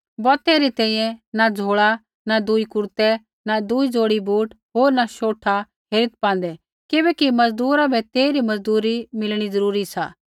बौतै री तैंईंयैं न झ़ोल़ा न दूई कुरतै न दूई ज़ोड़ी बूट होर न शोठा हेरीत् पान्दै किबैकि मज़दूरा बै तेइरी मज़दूरी मिलणी ज़रूरी सी